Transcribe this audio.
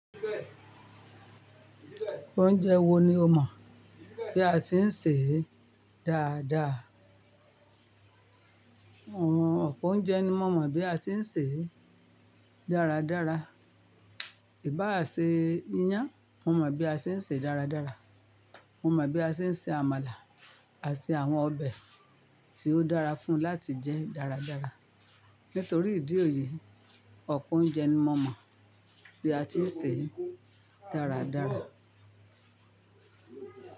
Oúnjẹ wo ni o mọ̀ bí a ti ń sè é dáadáa? Àwọn ọ̀pọ̀ oúnjẹ ni mo mọ̀ bí a ti ń sè é dáradára. Ìbá à se iyán, mo mọ̀ bí a ṣe ń sè é dáradára, mo mọ̀ bí a ṣe ń se àmàlà àti àwọn ọbẹ̀ tí ó dára fún láti jẹ́ dáradára. Nítorí ìdí èyí, ọ̀pọ̀ oúnjẹ ni mo mọ̀ bí a ti ń sè é dáradára.